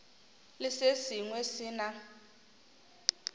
le se sengwe se na